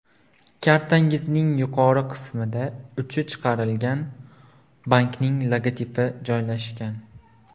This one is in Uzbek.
Kartangizning yuqori qismida uni chiqargan bankning logotipi joylashgan.